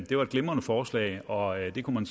det var et glimrende forslag og det kunne man